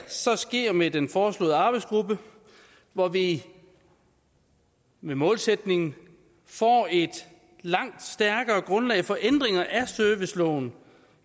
så sker med den foreslåede arbejdsgruppe hvor vi med målsætningen får et langt stærkere grundlag for ændringer af serviceloven